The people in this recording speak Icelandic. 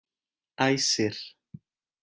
Æsir